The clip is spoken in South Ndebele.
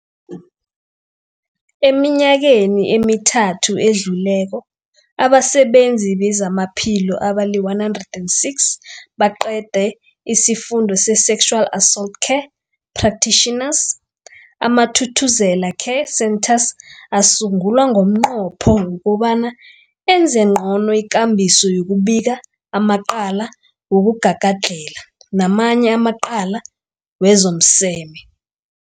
Eminyakeni emithathu edluleko, abasebenzi bezamaphilo abali-106 baqede isiFundo se-Sexual Assault Care Practitioners. AmaThuthuzela Care Centres asungulwa ngomnqopho wokobana enze ngcono ikambiso yokubika amacala wokugagadlhela namanye amacala wezomseme.